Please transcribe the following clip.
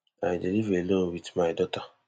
i dey live alone wit my daughter